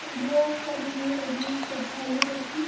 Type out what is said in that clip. बोहोत सारी भीड़ लगी हुई है श्रद्धालुओं की।